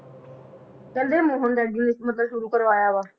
ਕਹਿੰਦੇ ਮੋਹਨ ਮਤਲਬ ਸ਼ੁਰੂ ਕਰਵਾਇਆ ਵਾ।